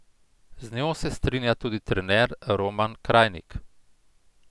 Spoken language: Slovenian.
Z njo se strinja tudi trener Roman Krajnik.